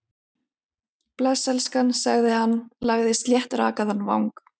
Bless, elskan- sagði hann, lagði sléttrakaðan vang